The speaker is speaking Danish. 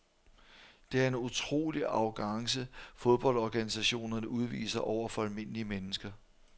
Det er en utrolig arrogance fodboldorganisationerne udviser over for almindelige mennesker.